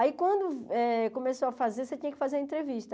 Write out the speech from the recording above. Aí quando eh começou a fazer, você tinha que fazer entrevista.